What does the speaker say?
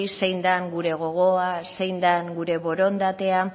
zein dan gure gogoa zein dan gure borondatea